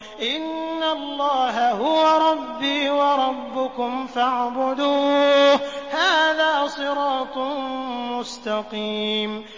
إِنَّ اللَّهَ هُوَ رَبِّي وَرَبُّكُمْ فَاعْبُدُوهُ ۚ هَٰذَا صِرَاطٌ مُّسْتَقِيمٌ